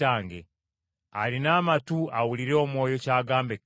Alina amatu awulire Omwoyo ky’agamba Ekkanisa ezo.